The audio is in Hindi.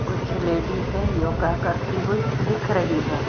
कुछ लेडीज योगा करती हुई दिख रही है।